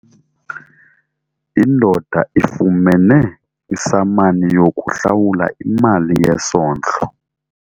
Indoda ifumene isamani yokuhlawula imali yesondlo.